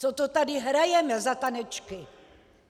Co to tady hrajeme za tanečky?